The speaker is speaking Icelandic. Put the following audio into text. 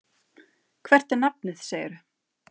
Hvert er nafnið, segirðu?